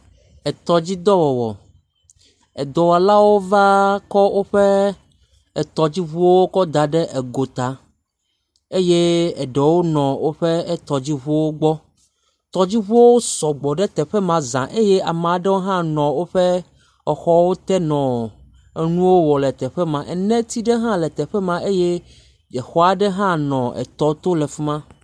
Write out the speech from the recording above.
Etɔdzidɔwɔwɔ. Edɔwɔlawo kɔ woƒe etɔdziŋuwo kɔ da ɖe egota. Eye eɖewo nɔ woƒe etɔdziŋuwo gbɔ. Tɔdziŋuwo sɔgbɔ ɖe teƒe ma zã. Eye ama ɖewo hã nɔ woƒe exɔwo te nɔ enuwo wɔm le teƒe ma eneti ɖe hã le teƒe ma. Eye exɔ aɖe hã nɔ etɔ to le fi ma.